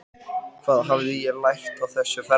Hvað hafði ég lært á þessu ferðalagi?